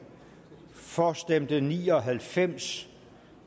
for stemte ni og halvfems